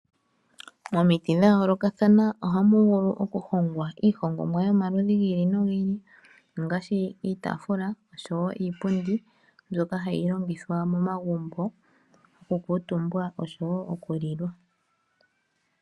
Momiti dhayoolokathana ohamu vulu okuhongwa iihongomwa yomaludhi gi ili nogi ili, ongashi iitafula oshowo iipundi mbyoka hayi longithwa momagumbo okukuutumbwa oshowo okulilwa.